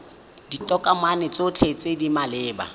ditokomane tsotlhe tse di maleba